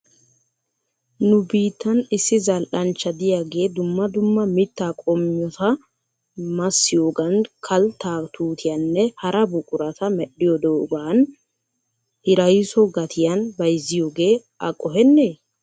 Nu biittan issi zal"anchcha diyaagee dumma dumma mittaa qommita massiyoogan kalttaa tuutiyaanne hara buqurata medhdhidoogaa hirayso gatiyan bayzziyoogee a qohenee?